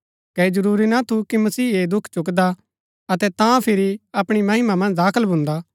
कै ऐह जरूरी ना थू कि मसीह ऐह दुख चुक्‍कदा अतै तां फिरी अपणी महिमा मन्ज दाखल भुन्दा